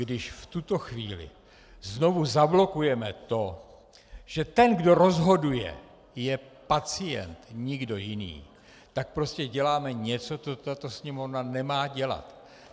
Když v tuto chvíli znovu zablokujeme to, že ten, kdo rozhoduje, je pacient, nikdo jiný, tak prostě děláme něco, co tato Sněmovna nemá dělat.